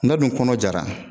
N'a dun kɔnɔ jara